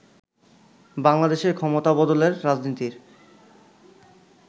বাংলাদেশে ক্ষমতাবদলের রাজনীতির